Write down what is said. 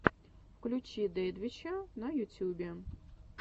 включи дэдвича на ютюбе